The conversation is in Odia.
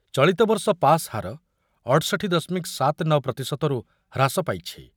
ଚଳିତବର୍ଷ ପାସ୍ ହାର ଅଠଷଠି ଦଶମିକ ସାତ ନ ପ୍ରତିଶତ ରୁ ହ୍ରାସ ପାଇଛି ।